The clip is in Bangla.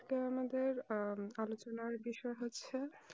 আজকে আমাদের উম আলোচনা বিষয় হচ্ছে